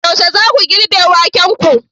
Yaushe zaku girbe wakenku?